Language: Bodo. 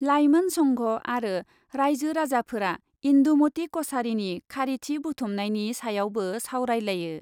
लाइमोन संघ आरो राइजो राजाफोरा इन्दुमती कछारीनि खारिथि बुथुमनायनि सायावबो सावरायलायो।